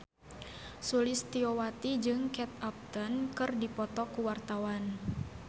Sulistyowati jeung Kate Upton keur dipoto ku wartawan